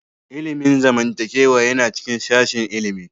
Ilimin zamantakewa yana cikin sashin ilimi